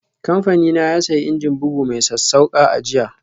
Kamfanina ya sayi injin bugu mai sassauƙa a jiya.